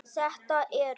Þetta eru